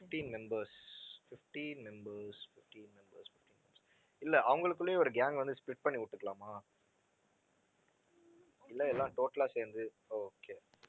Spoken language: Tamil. fifteen members, fifteen members, fifteen members, fifteen members. இல்லை அவங்களுக்குள்ளேயே ஒரு gang வந்து split பண்ணி விட்டுக்கலாமா இல்லை எல்லாம் total ஆ சேர்ந்து okay